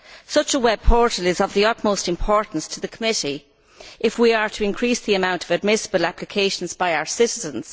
Such a web portal is of the utmost importance to the committee if we are to increase the amount of admissible applications by our citizens.